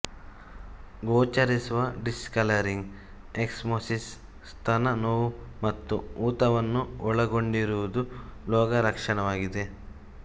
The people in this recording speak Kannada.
ಗೋಚರಿಸುವ ಡಿಸ್ಕಲರಿಂಗ್ ಎಕ್ಸಿಮೊಸಿಸ್ ಸ್ತನ ನೋವು ಮತ್ತು ಊತವನ್ನು ಒಳಗೊಂಡಿರುವುದು ರೋಗ ಲಕ್ಷಣವಾಗಿದೆ